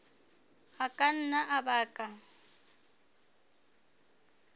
a ka nna a baka